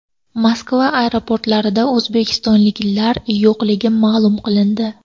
Moskva aeroportlarida o‘zbekistonliklar yo‘qligi ma’lum qilindi.